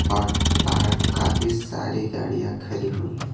और बाहर काफी सारी गाड़ियां खड़ी हुई हैं।